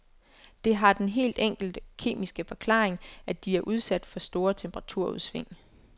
Det har den helt enkle kemiske forklaring, at de er udsat for store temperaturudsving.